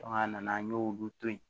a nana an y'olu to ye